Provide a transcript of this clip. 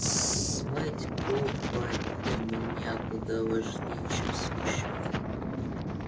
смыть копоть для меня куда важнее чем смущать